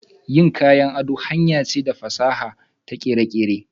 Yin kayan ado hanyar ce ta fasaha da kere-kere.